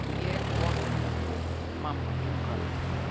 Ég opinmynntur, mamma þín köld.